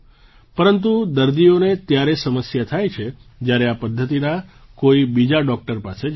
પરંતુ દર્દીઓને ત્યારે સમસ્યા થાય છે જ્યારે આ પદ્ધતિના કોઈ બીજા ડૉક્ટર પાસે જાય છે